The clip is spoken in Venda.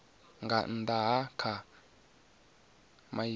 nga nnda ha kha maimo